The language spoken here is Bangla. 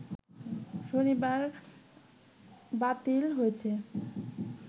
শনিবার বাতিল হয়েছে